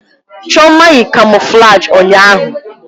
Chioma yi kamoflaji ụnyahụ.